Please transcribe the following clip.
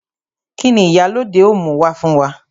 Kini Ìyálóde ó mú wá fún wa?